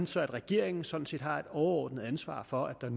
så regeringen sådan set har et overordnet ansvar for at